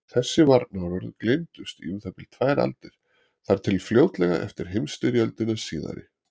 Þessi varnaðarorð gleymdust í um það bil tvær aldir, þar til fljótlega eftir heimsstyrjöldina síðari.